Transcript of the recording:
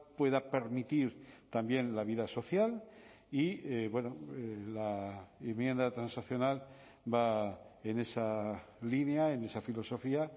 pueda permitir también la vida social y la enmienda transaccional va en esa línea en esa filosofía